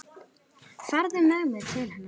Farðu með mig til hennar.